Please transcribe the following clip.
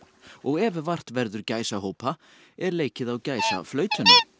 og ef vart verður gæsahópa er leikið á gæsaflautuna